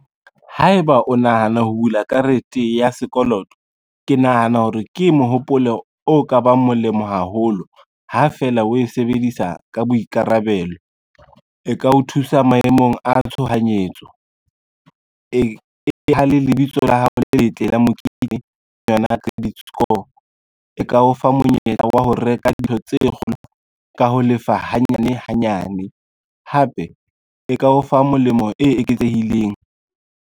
Haeba o nahana ho bula karete ya sekoloto, ke nahana hore ke mohopolo o ka bang molemo haholo ha fela o e sebedisa ka boikarabelo. E ka o thusa maemong a tshohanyetso, e theha le lebitso la hao le letle la mekitlane kapa yona credit score, e ka o fa monyetla wa ho reka dilo tse kgolo ka ho lefa hanyane hanyane, hape e ka o fa molemo o eketsehileng.